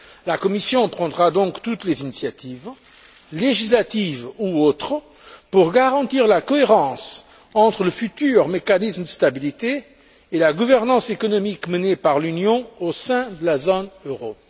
La Commission prendra donc toutes les initiatives législatives ou autres pour garantir la cohérence entre le futur mécanisme de stabilité et la gouvernance économique menée par l'Union au sein de la zone euro.